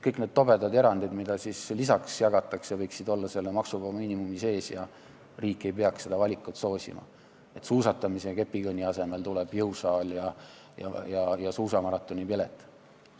Kõik need tobedad erandid, mida lisaks jagatakse, võiksid olla selle maksuvaba miinimumi sees ja riik ei peaks soosima valikut, et suusatamise ja kepikõnni asemel tuleks jõusaal ja suusamaratonipilet.